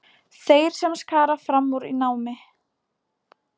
Þeir sem skara fram úr í námi.